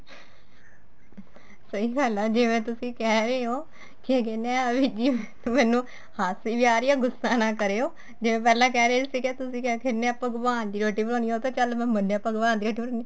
ਸਹੀ ਗੱਲ ਏ ਜਿਵੇਂ ਤਸੀ ਕਹਿ ਰਹੇ ਓ ਕੀ ਕਹਿਨੇ ਏ ਏਵੈ ਜੀ ਮੈਨੂੰ ਹਾਸੀ ਵੀ ਆ ਰਹੀ ਏ ਗੁੱਸਾ ਨਾ ਕਰਿਉ ਜਿਵੇਂ ਪਹਿਲਾਂ ਕਹਿ ਰਹੇ ਸੀਗੇ ਤੁਸੀਂ ਕਹਿ ਦਿਨੇ ਆ ਭਗਵਾਨ ਦੀ ਰੋਟੀ ਬਣਾਉਣੀ ਏ ਉਹ ਤਾਂ ਚੱਲ ਮੈਂ ਮੰਨਿਆ ਭਗਵਾਨ ਦੀ ਰੋਟੀ ਬਣਾਉਣੀ ਏ